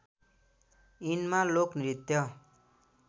यिनमा लोक नृत्य